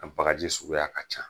A bagaji suguya ka ca.